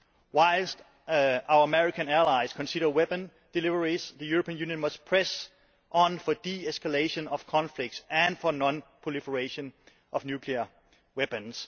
Whilst our American allies consider weapon deliveries, the European Union must press on for de escalation of conflicts and for non proliferation of nuclear weapons.